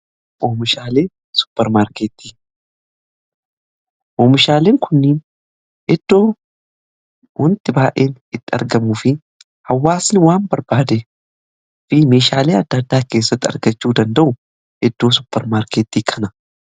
Oomishaalee supermaarkettii, oomishaaleen kunnii eddoo wanti baa'een itti argamu fi hawwaasni waan barbaade fi meeshaalee adda addaa keessatti argachuu danda'u eddoo suppermaarkeettii kana.